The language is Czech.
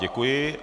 Děkuji.